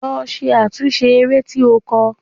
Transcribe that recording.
Lọ ṣe àtúnṣe eré tí o kọ!